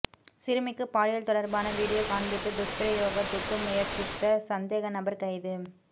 சிறுமிக்கு பாலியல் தொடர்பான வீடியோ காண்பித்து துஷ்பிரயோகத்துக்கு முயற்சித்த சந்தேகநபர் கைது